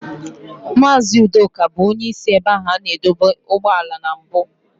Mazị Udoka bụ onye isi ebe a na-adọba ụgbọala na mbụ.